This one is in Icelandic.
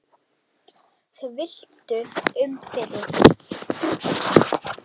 Þau villtu um fyrir okkur.